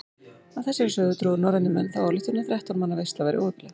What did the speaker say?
Af þessari sögu drógu norrænir menn þá ályktun að þrettán manna veisla væri óheppileg.